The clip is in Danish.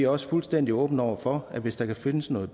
også fuldstændig åbne over for at hvis der kan findes noget